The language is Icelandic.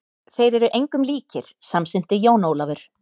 Þeir eru engum líkir, samsinnti Jón Ólafur.